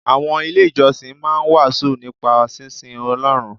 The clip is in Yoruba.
Àwọn ilé ìjọsìn máa ń wàásù nípa sínsin Ọlọ́run.